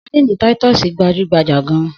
Sadínì títọ́sì gbajú-gbajà gan-an.